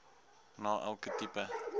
na elke tipe